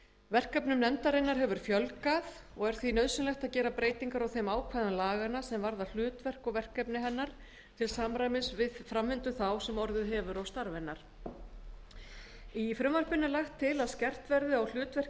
verkefnum nefndarinnar hefur fjölgað og er því nauðsynlegt að gera breytingar á þeim ákvæðum laganna sem varða hlutverk og verkefni hennar til samræmis við framvindu þá sem orðið hefur á starfi hennar í frumvarpinu er lagt til að skerpt verði á hlutverki